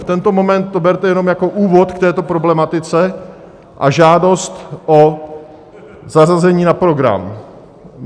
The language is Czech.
V tento moment to berte jenom jako úvod k této problematice a žádost o zařazení na program.